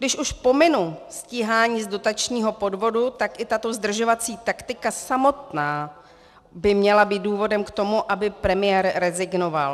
Když už pominu stíhání z dotačního podvodu, tak i tato zdržovací taktika samotná by měla být důvodem k tomu, aby premiér rezignoval.